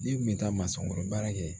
N'i kun bɛ taa masɔn kɔrɔ baara kɛ